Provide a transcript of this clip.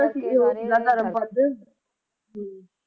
ਧਰਮ ਪਧ